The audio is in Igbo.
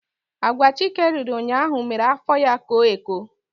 Agwa Chike riri ụnyaahụ mere afọ ya koo eko.